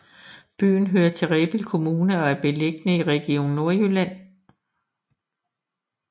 Byen hører til Rebild Kommune og er beliggende i Region Nordjylland